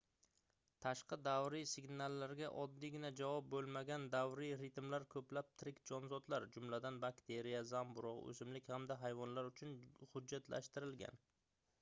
tashqi davriy signallarga oddiygina javob boʻlmagan davriy ritmlar koʻplab tirik jonzotlar jumladan bakteriya zamburugʻ oʻsimlik hamda hayvonlar uchun hujjatlashtirilgan